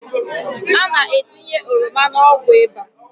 A na-etinye ọrọma n’ọgwụ ịba